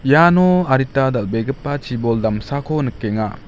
iano adita dal·begipa chibol damsako nikenga.